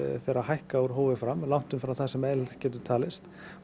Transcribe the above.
fer að hækka úr hófi fram langt umfram það sem eðlilegt getur talist